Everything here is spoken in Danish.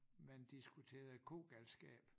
Man diskuterede kogalskab